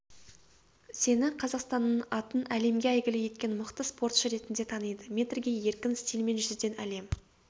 сені қазақстанның атын әлемге әйгілі еткен мықты спортшы ретінде таниды метрге еркін стильмен жүзуден әлем